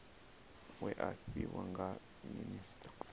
we a fhiwa nga minisita